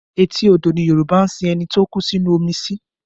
Etí odò ni Yorùbá ń sin ẹni tó kú sínú omi sí